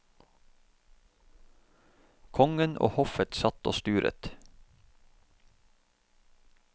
Kongen og hoffet satt og sturet.